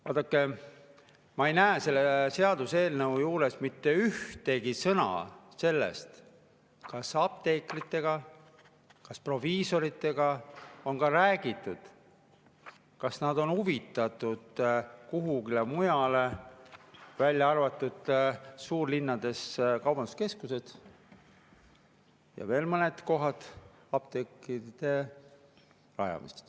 Vaadake, ma ei näe selle seaduseelnõu juures mitte ühtegi sõna sellest, kas apteekritega, kas proviisoritega on ka räägitud, kas nad on huvitatud kuskil mujal, välja arvatud suurlinnade kaubanduskeskused ja veel mõned kohad, apteekide rajamisest.